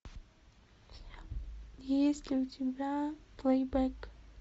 есть ли у тебя плейбэк